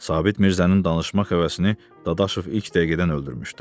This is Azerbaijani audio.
Sabit Mirzənin danışmaq həvəsini Dadaşov ilk dəqiqədən öldürmüşdü.